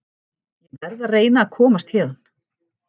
Ég verð að reyna að komast héðan.